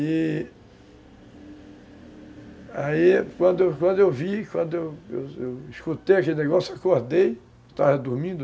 E aí, quando quando eu vi, quando eu escutei aquele negócio, acordei, estava dormindo,